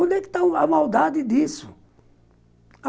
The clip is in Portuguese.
Onde é que está a maldade disso?